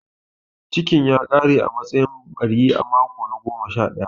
Cikn ya ƙare a matsayin ɓari a mako na goma sha ɗaya.